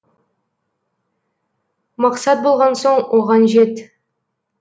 мақсат болған соң оған жет